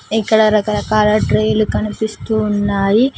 ఇక్కడ రకరకాల ట్రే లు కనిపిస్తూ ఉన్నాయి.